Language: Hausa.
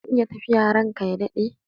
Zan iya tafiya ranka ya daɗe?